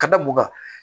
Ka da mun kan